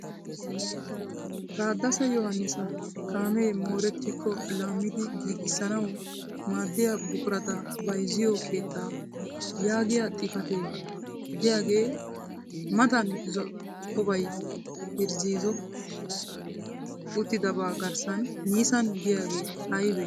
Tadasa Yohanisa kaamee moorettikko laammidi giigissanawu maaddiya buqurata bayizziyo keettaa yaagiyaa xipatee diyagaa matan zo'obay irzoti uttidaagaa garssan Nisan giyagee ayibe?